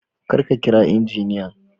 kar ka kira injiniyan